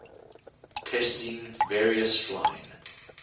testing various flying